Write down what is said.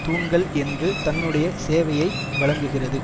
தூண்கள் என்று தன்னுடைய சேவையை வழங்குகிறது